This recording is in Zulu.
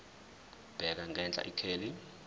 bheka ngenhla ikheli